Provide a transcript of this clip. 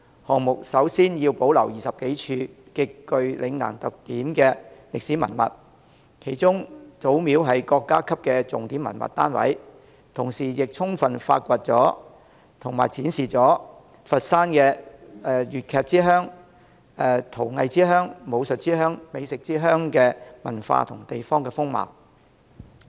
項目首先要保留20多處極具嶺南特點的歷史文物，其中祖廟是國家級的重點文物單位，同時亦充分發掘和展示佛山粵劇之鄉、陶藝之鄉、武術之鄉及美食之鄉的文化和地方風貌。